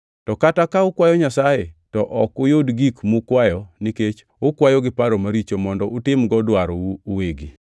To kata ka ukwayo Nyasaye, to ok uyud gik mukwayo nikech ukwayo gi paro maricho mondo utimgo dwarou uwegi.